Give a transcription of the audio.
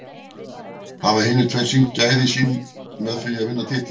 Hafa hinir tveir sýnt gæði sín með því að vinna titil?